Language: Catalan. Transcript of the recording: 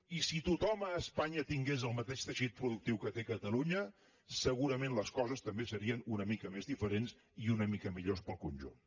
i si tothom a espanya tingués el mateix teixit productiu que té catalunya segurament les coses també serien una mica més diferents i una mica millors per al conjunt